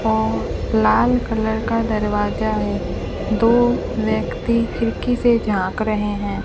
और लाल कलर का दरवाजा है दो व्यक्ति खिड़की से झांक रहें हैं।